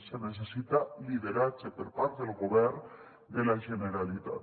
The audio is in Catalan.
se necessita lideratge per part del govern de la generalitat